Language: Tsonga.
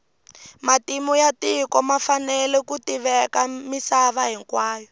matimu ya tiko ma fanele ku tiveka misava hinkwayo